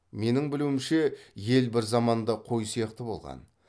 менің білуімше ел бір заманда қой сияқты болған